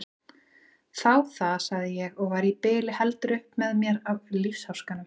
Þá það, sagði ég og var í bili heldur upp með mér af lífsháskanum.